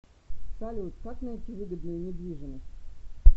салют как найти выгодную недвижимость